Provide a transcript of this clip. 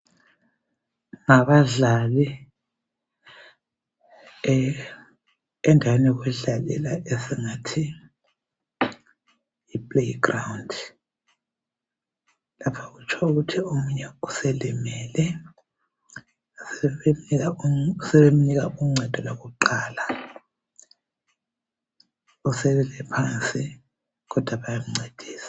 Ngabadlali, endaweni yokudlalela, esingathi yiplayground. Esingathi omunye uselimelele. Sebemnika uncedo kwakuqala. Usewele phansi, kodwa bayamncedisa.